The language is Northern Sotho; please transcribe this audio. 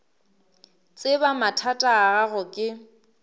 tseba mathata a gago ke